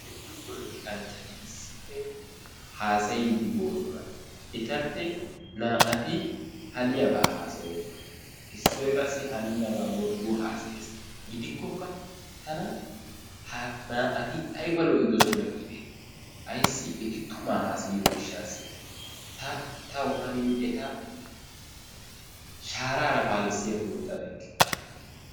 Heezzu polotikkanchchati issippe haassayddi boosona. Etappe naa"ati haniyaaba haassayoosona. Issoy qassi hanennaba wordduwa haassayees, gidikokka tana ha naa"ati aybba lo"idoosona giideti ayssi eti tummaa haassayiyo gishshaassi. Ta taw hanin eta shaarara paalissiyakko ixxabeykke.